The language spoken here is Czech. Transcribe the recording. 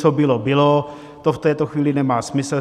Co bylo, bylo, to v této chvíli nemá smysl.